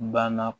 Banna